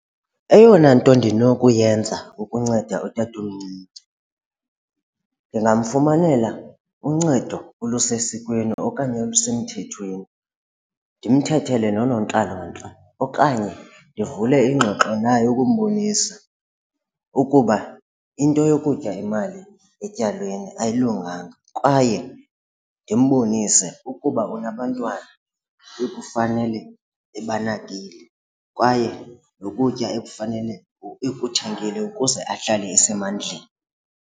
Eyona nto ndinokuyenza ukunceda utatomncinci, ndingamfumanela uncedo olusesikweni okanye olusemthethweni ndimthethele noonontlalontle okanye ndivule iingxoxo naye ukumbonisa ukuba into yokutya imali etywaleni ayilunganga kwaye ndimbonise ukuba unabantwana ekufanele ebanakile kwaye nokutya ekufanele ekuthengile ukuze ahlale esemandleni.